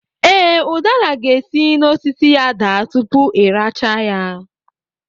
Ee, ụdara ga-esi n'osisi ya daa tupu ị rachaa ya